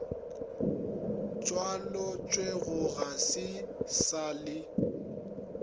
tšwaletšwego ga e sa le